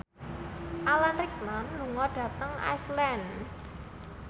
Alan Rickman lunga dhateng Iceland